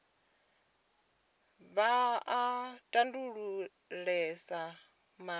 vha a tambulesa nga mulandu